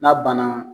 N'a banna